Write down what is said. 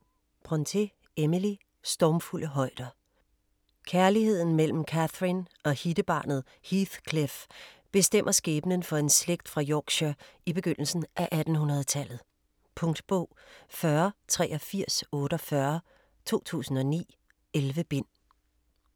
Brontë, Emily: Stormfulde højder Kærligheden mellem Catherine og hittebarnet Heathcliff bestemmer skæbnen for en slægt fra Yorkshire i begyndelsen af 1800-tallet. Punktbog 408348 2009. 11 bind.